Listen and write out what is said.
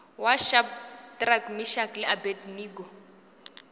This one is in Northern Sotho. wa shadrack meshack le abednego